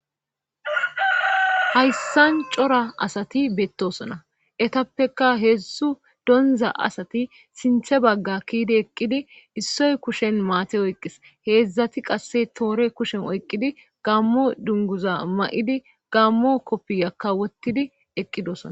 Hayssan cora asati beettosona etappeka heedzsu donza asati sinthe bagga kiidi eqqidi issoy kushen maate oyqis heedzdzati qasse toore kushen oyqqidi gammo dunguza ma'idi gammo koppiyakka wottidi eqqidosona.